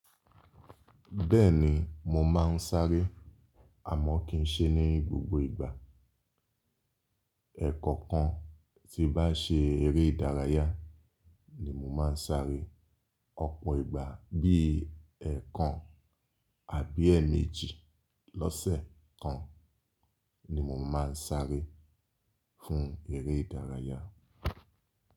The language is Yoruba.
Bẹ́ẹ̀ni mo máà ń sáré, àmọ́ kì í ṣe ní gbogbo ìgbà. Ẹ̀ẹ̀kọ̀kan tí bá ṣe eré ìdárayá ni mo máà ń sáré. Ọ̀pọ̀ ìgbà bí i ẹẹkan àbí ẹẹ̀méjì lọ́sẹ̀ kan ni mo máa ń sáré fún eré ìdárayá.